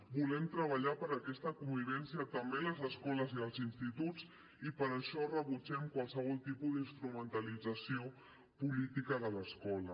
volem treballar per aquesta convivència també a les escoles i als instituts i per això rebutgem qualsevol tipus d’instrumentalització política de l’escola